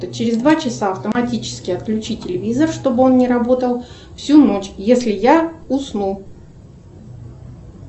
через два часа автоматически отключи телевизор чтобы он не работал всю ночь если я усну